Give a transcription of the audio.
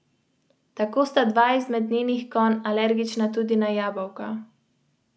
To ji kondicijsko tako pomaga, da je za korak, v nekaterih pogledih pa celo za dva, pred tekmicami.